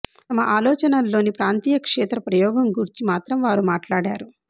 తమ ఆలోచనల్లోని ప్రాంతీయ క్షేత్ర ప్రయోగం గూర్చి మాత్రం వారు మాట్లాడారు